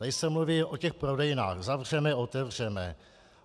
Tady se mluví o těch prodejnách: zavřeme, otevřeme.